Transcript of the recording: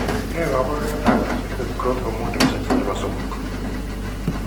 Ne kaabarunetap Isolated growth hormone deficiency ne po 3?